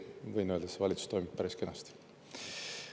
Võin öelda, et see valitsus toimib päris kenasti.